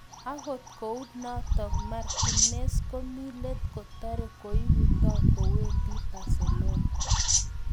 Akot kunatok, Martinez komi let kotare koiuto kowendi Barcelona.